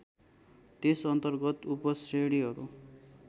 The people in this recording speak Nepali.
त्यस अर्न्तगत उपश्रेणीहरू